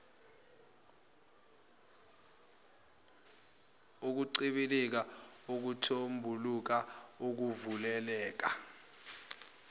ukuncibilika ukuthombuluka ukuvuleleka